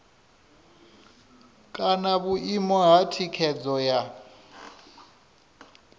kana vhuimo ha thikhedzo ya